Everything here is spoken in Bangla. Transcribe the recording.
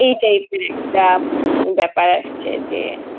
এই type এর একটা ব্যাপার আসছে যে.